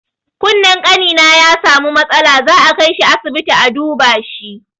Kunnen ƙanina ya samu matsala, za a kaishi asibiti a duba shi.